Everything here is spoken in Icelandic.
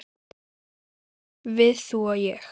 Við, þú og ég.